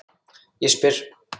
Ég spyr?